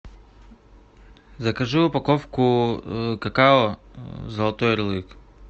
закажи упаковку какао золотой ярлык